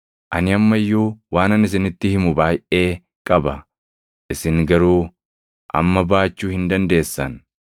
“Ani amma iyyuu waanan isinitti himu baayʼee qaba; isin garuu amma baachuu hin dandeessan.